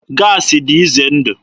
Gaasị dị ize ndụ.